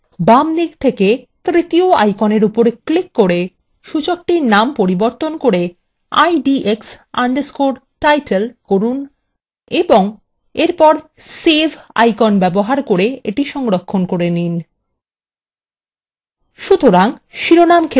এবং বামদিক থেকে তৃতীয় আইকনের উপর ক্লিক করে সূচকটির নামান্তর করে idx _ title করুন এবং এরপর save icon ব্যবহার করে এটি সংরক্ষণ করে নিন